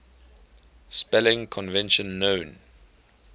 spelling convention known